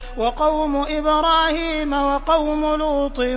وَقَوْمُ إِبْرَاهِيمَ وَقَوْمُ لُوطٍ